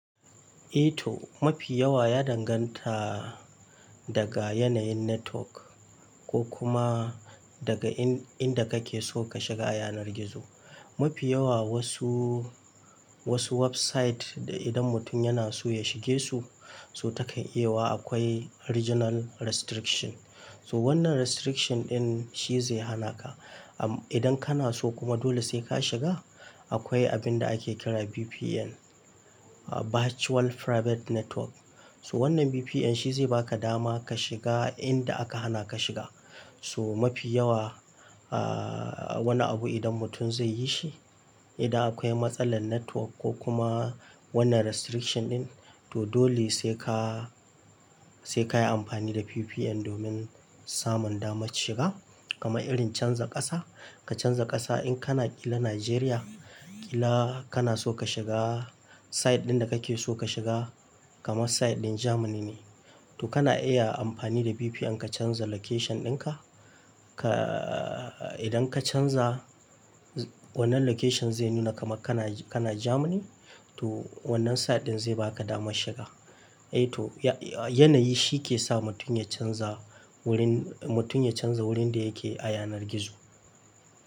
Eh toh, mafi yawa ya danganta daga yanayin network ko kuma daga inda kake so ka shiga a yanar gizo. Mafi yawa wasu, wasu website da idan mutum yana so ya shige su, so takan iya wa akwai regional restriction. So wannan restriction din shi zai hana ka. Idan kana so kuma dole sai ka shiga, akwai abin da ake kira VPN, Virtual Private Network. To wannan VPN shi zai baka dama ka shiga inda aka hana ka shiga. So mafi yawa, ahhh wani abu idan mutum zai yi shi, idan akwai matsalar network ko kuma wannan restriction ɗin, to dole sai ka, sai ka yi amfani da VPN domin samun damar shiga. Kamar irin canza ƙasa, ka canza ƙasa in kana ƙila Nigeria, ƙila kana so ka shiga site ɗin da kake so ka shiga kama site ɗin Germany ne, to kana iya amfani da VPN ka canza location din ka. Ka idan ka canza, wannan location zai nuna kamar kana, kana Germany, to wannan site ɗin zai baka damar shiga. Eh toh, yanayi shi ke sa mutum ya canza wurin, mutum ya canza wurin da yake a yanar gizo.